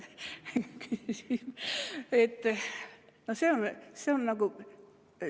Aitäh!